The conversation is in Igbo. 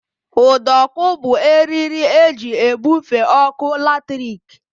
Ụdọọkụ bụ eriri e ji ebufe ọkụ latrik